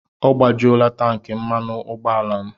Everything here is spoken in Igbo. Ọ gbajuola tankị mmanụ ụgbọala m.